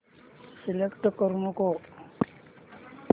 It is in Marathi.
सिलेक्ट करू नको